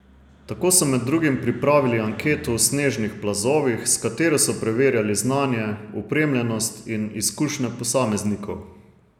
Tako so med drugim pripravili anketo o snežnih plazovih, s katero so preverjali znanje, opremljenost in izkušnje posameznikov.